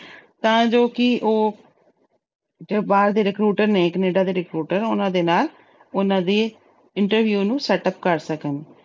ਤਾਂ ਜੋ ਕਿ ਉਹ ਜੋ ਬਾਹਰ ਦੇ recruiter ਨੇ ਕਨੇਡਾ ਦੇ recruiter ਉਹਨਾਂ ਦੇ ਨਾਲ ਉਹਨਾਂ ਦੀ interview ਨੂੰ setup ਕਰ ਸਕਣ।